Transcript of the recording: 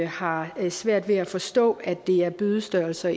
har svært ved at forstå at det er bødestørrelser